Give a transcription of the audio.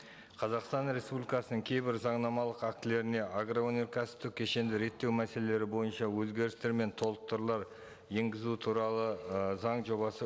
қазақстан республикасының кейбір заңнамалық актілеріне агроөнеркәсіптік кешенді реттеу мәселелері бойынша өзгерістер мен толықтырулар енгізу туралы ы заң жобасы